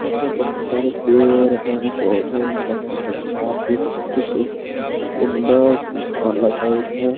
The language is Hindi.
यहाँ पर बहोत सारे पेड़ है। पौधे वोधे लगे हुए है। पार्क भी बहुत सु सुन्दर लग रही है।